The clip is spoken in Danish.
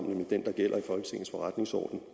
nemlig den der gælder i folketingets forretningsorden